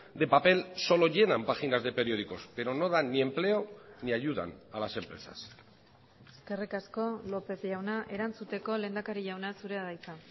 de papel solo llenan páginas de periódicos pero no dan ni empleo ni ayudan a las empresas eskerrik asko lópez jauna erantzuteko lehendakari jauna zurea da hitza